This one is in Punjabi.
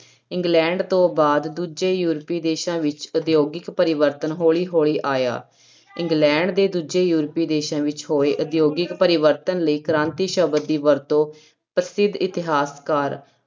ਇੰਗਲੈਂਡ ਤੋਂ ਬਾਅਦ ਦੂਜੇ ਯੂਰਪੀ ਦੇਸਾਂ ਵਿੱਚ ਉਦਯੋਗਿਕ ਪਰਿਵਰਤਨ ਹੌਲੀ ਹੌਲੀ ਆਇਆ, ਇੰਗਲੈਂਡ ਦੇ ਦੂਜੇ ਯੂਰਪੀ ਦੇਸਾਂ ਵਿੱਚ ਹੋਏ ਉਦਯੋਗਿਕ ਪਰਿਵਰਤਨ ਲਈ ਕ੍ਰਾਂਤੀ ਸ਼ਬਦ ਦੀ ਵਰਤੋਂ ਪ੍ਰਸਿੱਧ ਇਤਿਹਾਸਕਾਰ